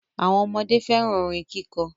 Awọn ọmọde fẹ́ràn orin kíkọ.